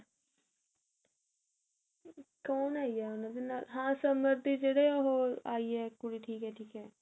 ਕੋਣ ਆਈ ਹੈ ਉਹਨਾਂ ਦੇ ਨਾਲ ਹਾਂ ਸਮਰ ਦੀ ਜਿਹੜੇ ਉਹ ਆਈ ਹੈ ਕੁੜੀ ਠੀਕ ਹੈ ਠੀਕ ਹੈ